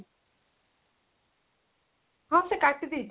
ହଁ, ସେ କାଟି ଦେଇଛି